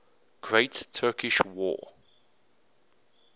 great turkish war